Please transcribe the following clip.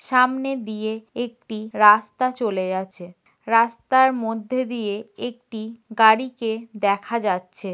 সামনে দিয়ে একটি রাস্তা চলে গেছে। রাস্তার মধ্যে দিয়ে একটি গাড়িকে দেখা যাচ্ছে।